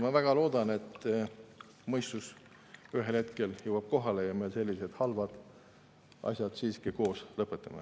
Ma väga loodan, et mõistus ühel hetkel jõuab kohale ja me sellised halvad asjad siiski koos lõpetame.